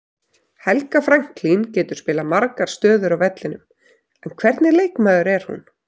Helga Franklín getur spilað margar stöður á vellinum, hvernig leikmaður er hún?